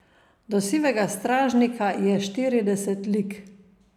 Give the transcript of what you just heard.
Do Sivega stražnika je štirideset lig.